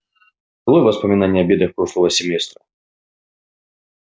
долой воспоминания о бедах прошлого семестра